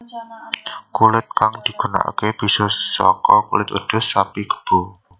Kulit kang digunakake bisa saka kulit wedhus sapi kebo